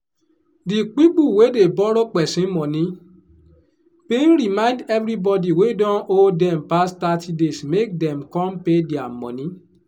di pipu wey dey borrow pesin money bin remind everybody wey don owe dem pass thirty days make dem come pay dia money